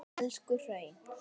Elstu hraun